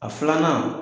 A filanan